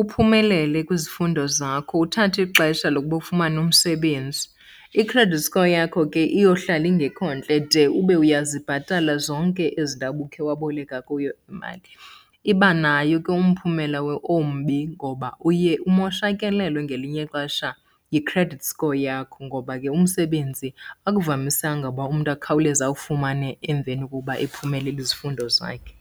uphumelele kwizifundo zakho uthathe ixesha lokuba ufumane umsebenzi. I-credit score yakho ke iyohlala ingekho ntle de ube uyazibhatala zonke ezindawo ubukhe waboleka kuyo imali. Iba nayo ke umphumela ombi ngoba uye umoshakalelwe ngelinye ixesha yi-credit score yakho, ngoba ke umsebenzi akuvamisanga uba umntu akhawuleze awufumane emveni kokuba ephumelele izifundo zakhe.